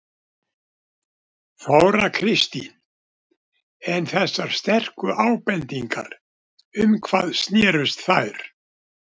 Þóra Kristín: En þessar sterku ábendingar um hvað snérust þær?